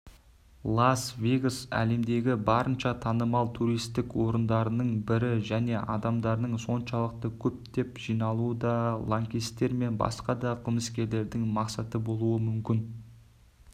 лас-вегас әлемдегі барынша танымал туристік орындардың бірі және адамдардың соншалықты көптеп жиналуы да лаңкестер мен басқа да қылмыскерлердің мақсаты болуы мүмкін